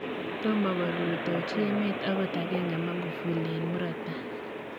Tomo korutochi emet angot agenge Magufuli eng murot tai .